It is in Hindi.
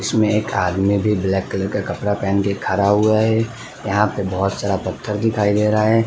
इसमें एक आदमी भी ब्लैक कलर का कपड़ा पहन के खड़ा हुआ है यहाँ पे बोहोत सारा पत्थर दिखाई दे रहा है।